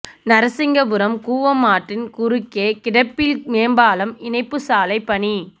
நரசிங்கபுரம் கூவம் ஆற்றின் குறுக்கே கிடப்பில் மேம்பாலம் இணைப்பு சாலை பணி